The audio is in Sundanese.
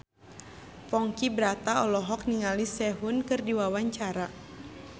Ponky Brata olohok ningali Sehun keur diwawancara